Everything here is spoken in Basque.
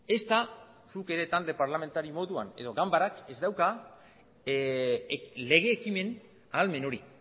ezta zuk ere talde parlamentario moduan edo ganbarak ez dauka lege ekimen ahalmen hori